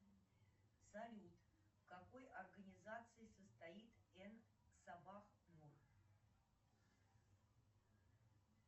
салют в какой организации состоит н сабах нур